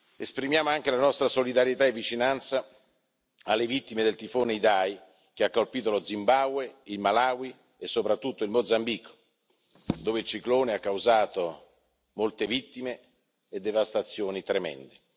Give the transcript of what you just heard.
Esprimiamo anche la nostra solidarietà e vicinanza alle vittime del tifone Idai, che ha colpito lo Zimbabwe, il Malawi e soprattutto il Mozambico, dove ha causato molte vittime e devastazioni tremende.